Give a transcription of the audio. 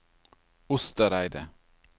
Ostereidet